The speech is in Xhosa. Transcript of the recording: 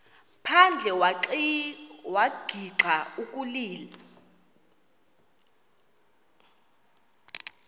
phandle wagixa ukulila